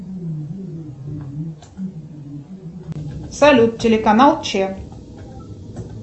салют телеканал ч